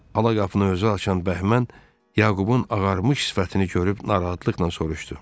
Ala qapını özü açan Bəhmən Yaqubun ağarmış sifətini görüb narahatlıqla soruşdu.